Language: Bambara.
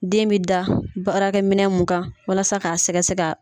Den bɛ da baarakɛ minɛ mun kan walasa k'a sɛgɛsɛ